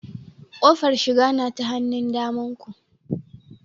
Kofar shiga na ta hannun damanku